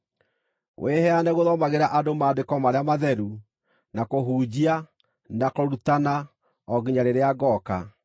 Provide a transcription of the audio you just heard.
Wĩheane gũthomagĩra andũ Maandĩko marĩa matheru, na kũhunjia, na kũrutana, o nginya rĩrĩa ngooka.